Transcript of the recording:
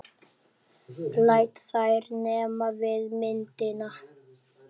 Læt þær nema við myndina.